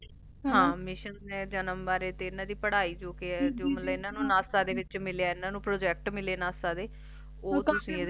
ਹਾਂ ਮਿਸ਼ਨ ਤੇ ਜਨਮ ਵਾਰੇ ਤੇ ਇਹਨਾਂ ਦੀ ਪੜਾਈ ਵਾਰੇ ਜੀ ਕਿ ਏ ਇਹਨਾਂ ਨੂੰ ਨਾਸਾ ਦੇ ਵਿੱਚ ਮਿਲਿਆ ਇਹਨਾਂ ਨੂੰ Project ਮਿਲੇ ਨਾਸਾ ਦੇ ਓਹ ਦਸੇ ਇਸ ਚ